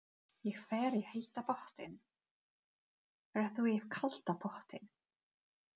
Ég fer í heita pottinn. Ferð þú í kalda pottinn?